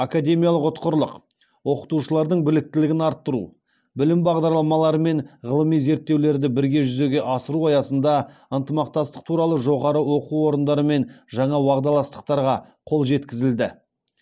академиялық ұтқырлық оқытушылардың біліктілігін арттыру білім бағдарламалары мен ғылыми зерттеулерді бірге жүзеге асыру аясында ынтымақтастық туралы жоғары оқу орындарымен жаңа уағдаластықтарға қол жеткізілді